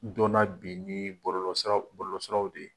dɔn na bi ni bɔlɔlɔsiraw bɔlɔlɔsiraw de ye.